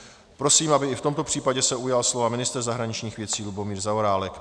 Prosím, aby i v tomto případě se ujal slova ministr zahraničních věcí Lubomír Zaorálek.